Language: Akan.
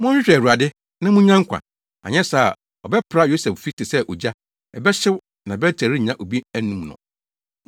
Monhwehwɛ Awurade na munnya nkwa, anyɛ saa a ɔbɛpra Yosef fi te sɛ ogya; ɛbɛhyew, na Bet-El rennya obi anum no.